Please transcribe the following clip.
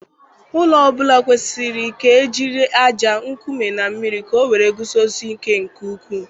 Ụlọ ọ bụla kwesịrị ka ejiri ájá, nkume, na mmiri ka ọ wee guzosie ike nke ukwuu.